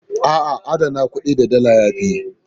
A'a, adana kuɗi da Dala ya fi.